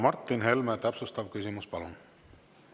Martin Helme, täpsustav küsimus, palun!